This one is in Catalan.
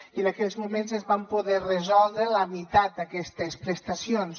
i en aquells moments es van poder resoldre la meitat d’aquestes prestacions